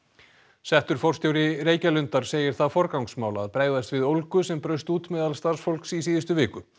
settur forstjóri Reykjalundar segir það forgangsmál að bregðast við ólgu sem braust út meðal starfsfólks í síðustu viku